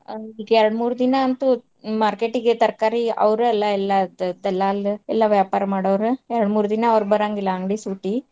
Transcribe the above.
ಈಗ್ ಎರ್ಡ್ ಮೂರ್ ದಿನಾ ಅಂತು market ಇಗೆ ತರಕಾರಿ ಅವ್ರು ಅಲ್ಲಾ ಎಲ್ಲಾ ದಲ್ಲಾಲ್ ಎಲ್ಲಾ ವ್ಯಾಪಾರ ಮಾಡೋರ್. ಎರ್ಡ್ ಮೂರ್ದಿನ ಅವ್ರ್ ಬರಂಗಿಲ್ಲಾ ಅಂಗಡಿ ಸೂಟಿ.